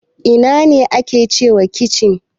Ina ne ake cewa kicin?